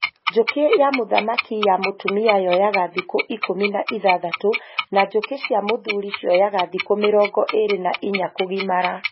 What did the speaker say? Njũki ya muthamaki ya mũtumia yoyaga thikũ ikũmi na ithathatũ na njũkĩ cia mũthuri cioyaga thikũ mĩrongo ĩrĩ na inya kũgimara